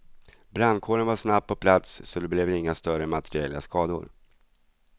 Brandkåren var snabbt på plats, så det blev inga större materiella skador.